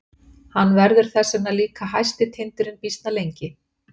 Hann verður þess vegna líka hæsti tindurinn býsna lengi.